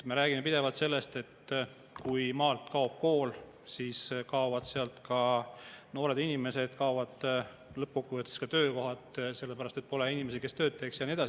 Me räägime pidevalt sellest, et kui maalt kaob kool, siis kaovad sealt ka noored inimesed, kaovad lõppkokkuvõttes ka töökohad, sest pole inimesi, kes tööd teeks, ja nii edasi.